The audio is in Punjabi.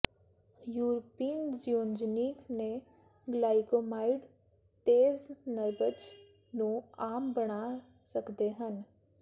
ਯੂਰਪੀਨ ਜ਼ਯੂਨਜਨੀਕ ਦੇ ਗਲਾਈਕੌਸਾਈਡ ਤੇਜ਼ ਨਬਜ਼ ਨੂੰ ਆਮ ਬਣਾ ਸਕਦੇ ਹਨ